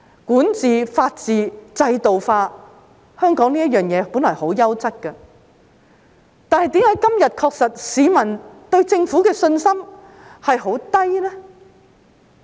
管治、法治，制度化，香港這些事情本來十分優質，但為何今天市民對政府的信心確實很低呢？